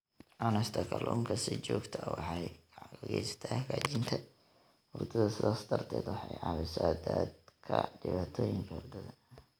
Cunista kalluunka si joogto ah waxay gacan ka geysataa hagaajinta hurdada, sidaas darteed waxay caawisaa dadka dhibaatooyinka hurdada.